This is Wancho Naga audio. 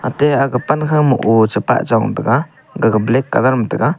ate aga pan khoma ou chepah chong taiga gaga black colour ma taiga.